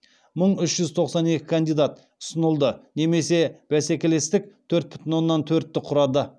мың үш жүз тоқсан екі кандидат ұсынылды немесе бәсекелестік төрт бүтін оннан төртті құрады